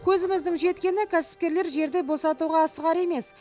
көзіміздің жеткені кәсіпкерлер жерді босатуға асығар емес